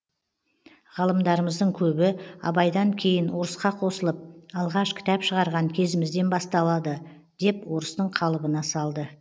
ғалымдарымыздың көбі абайдан кейін орысқа қосылып алғаш кітап шығарған кезімізден басталды деп орыстың қалыбына салды